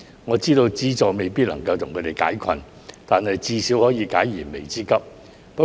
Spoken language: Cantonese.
我知道資助未必可以為他們完全解困，但至少能夠解燃眉之急。